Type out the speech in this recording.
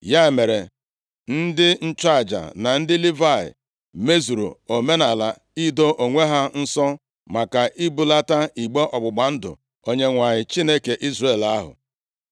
Ya mere, ndị nchụaja na ndị Livayị mezuru omenaala ido onwe ha nsọ maka ibulata igbe ọgbụgba ndụ Onyenwe anyị, Chineke Izrel ahụ.